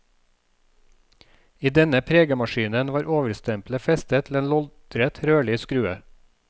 I denne pregemaskinen var overstempelet festet til en loddrett rørlig skrue.